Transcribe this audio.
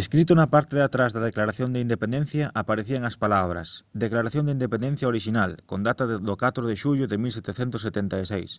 escrito na parte de atrás da declaración de independencia aparecían as palabras declaración de independencia orixinal con data do 4 de xullo de 1776